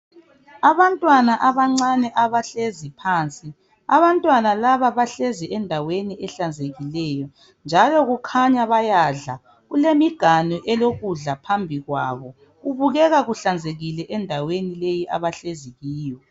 Abantwana abancane abahlezi phansi abantwana laba bahlezi endaweni ehlanzekileyo njalo bakhanya bayadla kulemiganu elokudla phambi kwabo kubukeka kuhlanzekile endaweni leyi abahlezi kiyo .